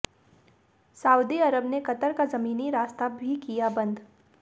Saudi Arab ने Qatar का ज़मीनी रास्ता भी किया बंद